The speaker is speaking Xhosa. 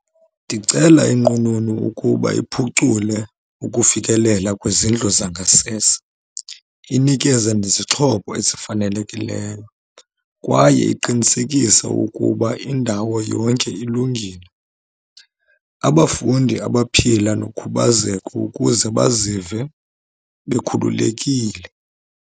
Ndicela inqununu ukuba iphucule ukufikelela kwizindlu zangasese, inikeze nezixhobo ezifanelekileyo kwaye iqinesekise ukuba indawo yonke ilungile. Abafundi abaphila nokhubazeko ukuze bazive bekhululekile.